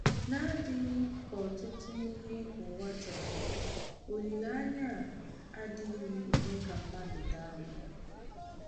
N’adịghị ka ọtụtụ ihe ụwa chọrọ, olileanya a “adịghị eme ka mmadụ daa mba.”